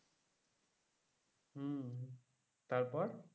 তারপর?